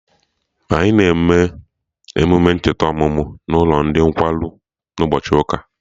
Anyị na eme emume ncheta ọmụmụ n'ụlọ ndị nkwarụ na ụbọchị ụka